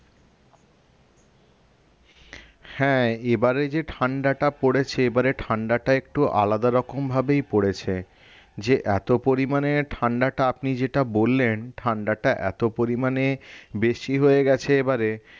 হ্যাঁ এবারে যে ঠান্ডাটা পড়েছে এবারে ঠান্ডাটা একটু আলাদারকম ভাবেই পড়েছে যে এত পরিমানে ঠান্ডাটা আপনি যেটা বললেন ঠান্ডাটা এত পরিমানে বেশি হয়ে গেছে এবারে